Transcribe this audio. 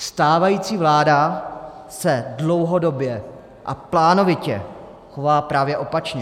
Stávající vláda se dlouhodobě a plánovitě chová právě opačně.